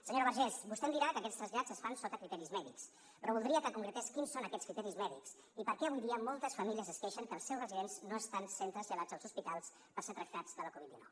senyora vergés vostè em dirà que aquests trasllats es fan sota criteris mèdics però voldria que concretés quins són aquests criteris mèdics i per què avui dia moltes famílies es queixen que els seus residents no estan sent traslladats als hospitals per ser tractats de la covid dinou